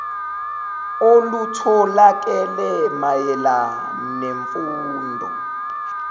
olutholakele mayela nemfundo